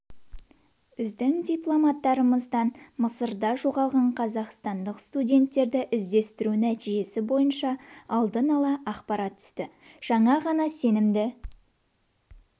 біздің дипломаттарымыздан мысырда жоғалған қазақстандық студенттерді іздестіру нәтижесі бойынша алдын ала ақпарат түсті жаңа ғана сенімді